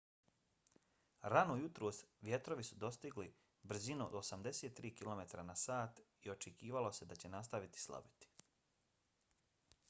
rano jutros vjetrovi su dostigli brzinu od 83 km/h i očekivalo se da će nastaviti slabiti